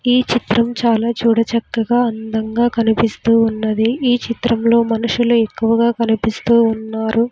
ఈ చిత్రం చాలా చూడ చక్కగా అందంగా కనిపిస్తూ ఉన్నది ఈ చిత్రంలో మనుషులు ఎక్కువగా కనిపిస్తూ ఉన్నారు.